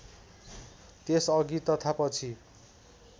त्यसअघि तथा पछि